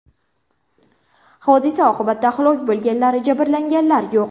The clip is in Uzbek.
Hodisa oqibatida halok bo‘lganlar va jabrlanganlar yo‘q.